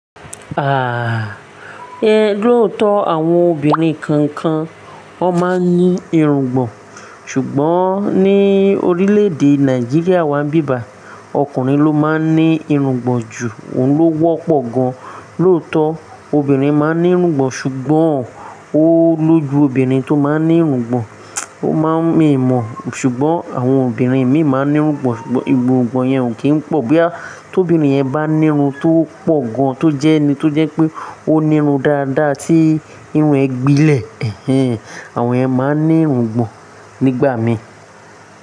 Àáà, lóòótọ́ àwọn obìnrin kan kan ó máa ń ní irungbọ̀n, ṣùgbọ́n ní orílẹ̀èdè Nàìjíríà wá ń bíba ọkùnrin ló máa ń ní irungbọ̀n ju, òun ló wọ́pọ̀ gan. Lóòótọ́ obìnrin máa ń ní irungbọ̀n ṣùgbọ́n, ó lójú obìnrin tó máa ń ní irungbọ̀n, ó má ń mì mọ̀ ṣùgbọ́n àwọn obìnrin mìíràn máa ń ní irungbọ̀n ṣùgbọ́n irungbọ̀n yẹn ò kí ń pọ̀ bóyá ti obinrín yẹn bá ní irun tó pọ̀ gan, tó jẹ́ni, tó jẹ́ pé ó ní irun dáadáa tí irun ẹ gbilẹ̀. Àwọn ẹ máa ń ní irungbọ̀n nígbà mí.